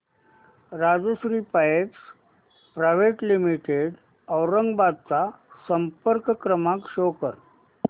Rajshri pipes private limited Aurangabad चा संपर्क क्रमांक शो कर